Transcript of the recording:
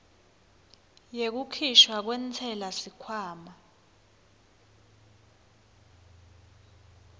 yekukhishwa kwentsela sikhwama